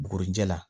Bugurijɛ la